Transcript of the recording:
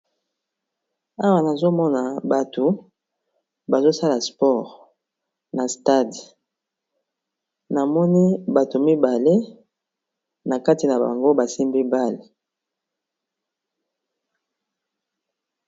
Awa nazomona bato bazosala spore na stadi namoni bato mibale na kati na bango basi mibale.